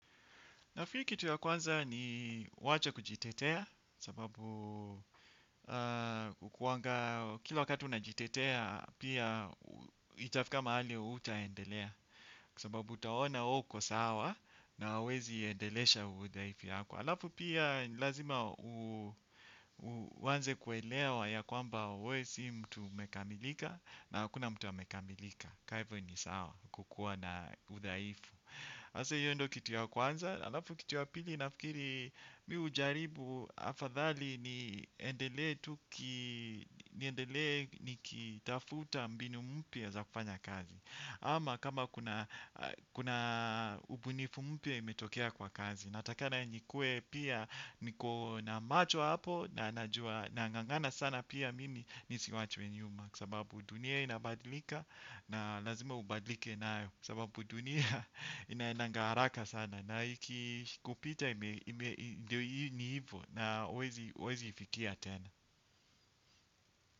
Na fuiu kitu ya kwanza ni wacha kujitetea sababu hukuwanga kila wakati unajitetea pia itafika mahali hautaendelea kwa sababu utaona wewe uko sawa na huwezi endelesha uudhaifu yako. Alafu pia ni lazima uanze kuelea ya ya kwamba wewe si mtu umekamilika na hakuna mtu amekamilika. Ka hivo ni sawa kukuwa na udhaifu. Sasa hiyo ndio kitu ya kwanza alafu kitu ya pili nafikiri mimi hujaribu afadhali niendelee tu niendele niki tafuta mbinu mpya za kufanya kazi. Ama kama kuna ubunifu mpya imetokea kwa kazi. Natakana nikue pia niko na macho hapo na nangangana sana pia mimi nisiwachwe nyuma. Kwa sababu dunia inabadilika na lazima ubadilike nayo sababu dunia inaendaga haraka sana na ikikupita ime ndio hivyo na huwezi ifikia tena.